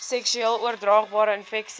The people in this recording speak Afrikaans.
seksueel oordraagbare infeksies